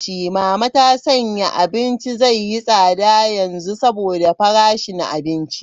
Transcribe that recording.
Mama ta sanya abinci zai yi tsada yanzu saboda farashin abinci.